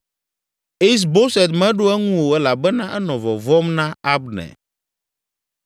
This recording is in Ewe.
Is Boset meɖo eŋu o elabena enɔ vɔvɔ̃m na Abner.